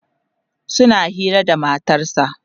suna Hira da matarsa